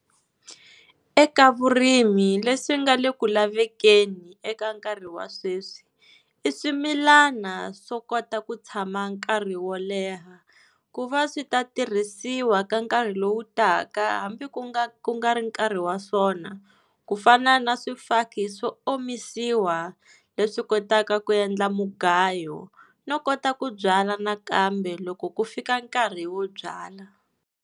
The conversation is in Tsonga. Eka vurimi leswi nga le ku lavekeni eka nkarhi wa sweswi i swimilana swo kota ku tshama nkarhi wo leha. Ku va swi ta tirhisiwa ka nkarhi lowu taka, hambi ku nga ku nga ri nkarhi wa swona, ku fana na swifaki swo omisiwa leswi kotaka ku endla mugayo no kota ku byala nakambe loko ku fika nkarhi wo byala.